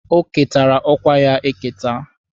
O ketara ọkwa ya eketa.